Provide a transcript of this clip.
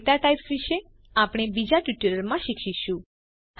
દાતા types વિષે આપને બીજા ટ્યુટોરીયલ માં શીખીશું